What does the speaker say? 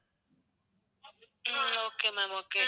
um okay ma'am okay